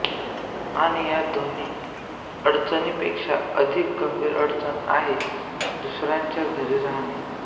आणि या दोन्ही अडचणींपेक्षा अधिक गंभीर अडचण आहे दुसऱ्यांच्या घरी राहाणे